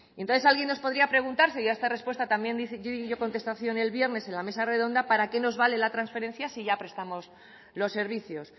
entonces alguien nos podría preguntarse y a esta respuesta también dio contestación el viernes en la mesa redonda para qué nos vale la trasferencia si ya prestamos los servicios